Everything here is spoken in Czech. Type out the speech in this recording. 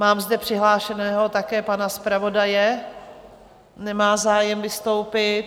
Mám zde přihlášeného také pana zpravodaje - nemá zájem vystoupit.